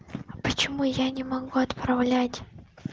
почему я не могу отправлять